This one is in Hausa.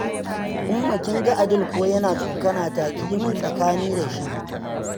Umma kin ga Adil ko yana tsokana ta, ki yi min tsakani da shi.